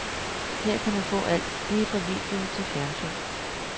Her kan man få alt, lige fra video til fjernsyn.